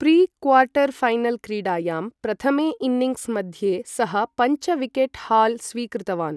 प्रि quarter final क्रीडायां प्रथमे innings मध्ये सः पञ्च विकेट् हाल् स्वीकृतवान्।